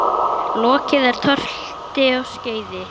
Lokið er tölti og skeiði.